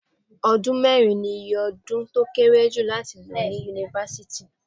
Ọdún mẹ́rin ni iye ọdún tó kéré jù láti lò ní Yunifásítì.